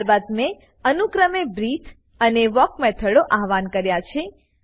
ત્યારબાદ મેં અનુક્રમે બ્રીથે અને વાલ્ક મેથડો આવ્હાન કર્યા છે